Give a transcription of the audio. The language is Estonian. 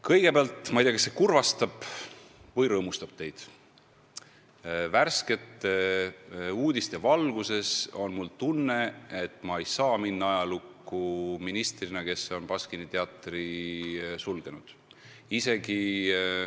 Kõigepealt, ma ei tea, kas see kurvastab või rõõmustab teid, aga värskete uudiste valguses on mul tunne, et ma ei saa minna ajalukku ministrina, kes on Baskini teatri sulgenud.